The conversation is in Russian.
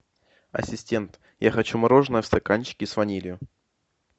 ассистент я хочу мороженое в стаканчике с ванилью